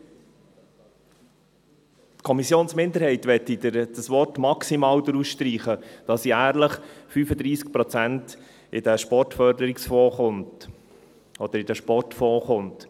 Die Kommissionsminderheit möchte das Wort «maximal» herausstreichen, damit jährlich 35 Prozent in diesen Sportförderungsfonds oder Sportfonds kommen.